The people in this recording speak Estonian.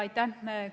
Aitäh!